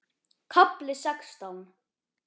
KAFLI SEXTÁN